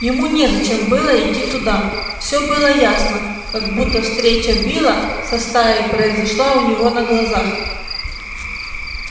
ему незачем было идти туда все было ясно как будто встреча билла со стаей произошла у него на глазах